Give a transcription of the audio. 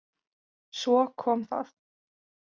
Svo kom það.